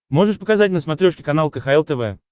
можешь показать на смотрешке канал кхл тв